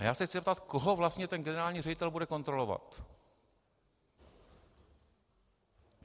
A já se chci zeptat, koho vlastně ten generální ředitel bude kontrolovat.